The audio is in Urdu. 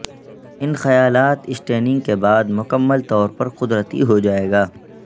ان خیالات سٹیننگ کے بعد مکمل طور پر قدرتی ہو جائے گا